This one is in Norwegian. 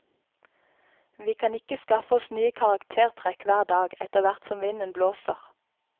Vi kan ikke skaffe oss nye karaktertrekk hver dag, etterhvert som vinden blåser.